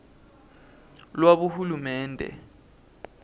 lwabohulumende